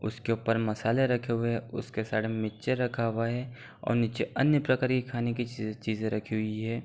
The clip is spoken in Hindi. उसके उपर मसाले रखे हुए हैं उसके साइड में मीचे रखा हुआ है और नीचे अन्य प्रकार के खाने की चीजे चीजे रखी हुई हैं।